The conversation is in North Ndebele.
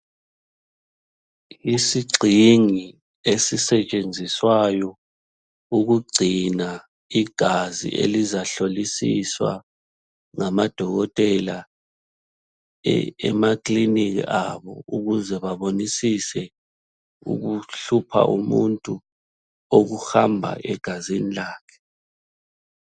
Isigxingi esisetshenziswayo ukugcina igazi elizahlolisiswa ngama dokotela emakiliniki abo ukuze babonisise ukuhlupha umuntu okuhamba egazini lakhe.